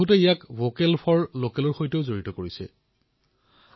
বহুলোকে ইয়াক vocal for লকেলৰ সৈতেও সংবদ্ধ কৰিছে আৰু এয়া শুদ্ধও